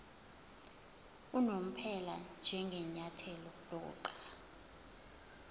unomphela njengenyathelo lokuqala